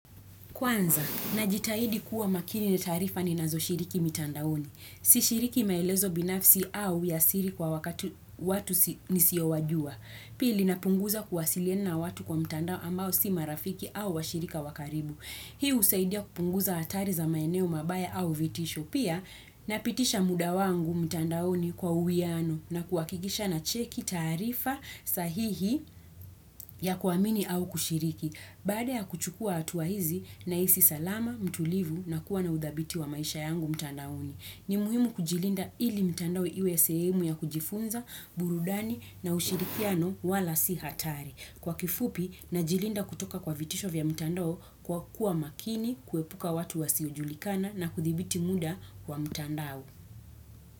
Kwanza, najitahidi kuwa makini na taarifa ni nazo shiriki mitandaoni. Si shiriki maelezo binafsi au ya siri kwa wakati watu nisiowajua. Pili, napunguza kuwasiliana watu kwa mitandao ambao si marafiki au wa shirika wakaribu. Hii husaidia kupunguza atari za maeneo mabaya au vitisho. Pia, napitisha muda wangu mitandaoni kwa uwiano na kuhakikisha na cheki taarifa sahihi ya kuamini au kushiriki. Baada ya kuchukua hatua hizi na hisi salama, mtulivu na kuwa na udhabiti wa maisha yangu mtandaoni. Ni muhimu kujilinda ili mtandao iwe sehemu ya kujifunza, burudani na ushirikiano wala sihatari. Kwa kifupi na jilinda kutoka kwa vitisho vya mtandao kwa kuwa makini, kuepuka watu wa siojulikana na kuthibiti muda wa mtandao.